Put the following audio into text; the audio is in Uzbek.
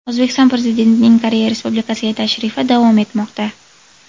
O‘zbekiston Prezidentining Koreya Respulikasiga tashrifi davom etmoqda.